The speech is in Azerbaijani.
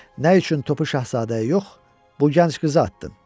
Nə üçün topu şahzadəyə yox, bu gənc qıza atdın?